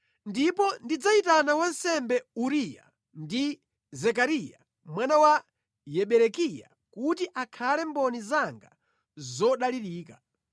Ndipo ndidzayitana wansembe Uriya ndi Zekariya mwana wa Yeberekiya kuti akhale mboni zanga zodalirika.”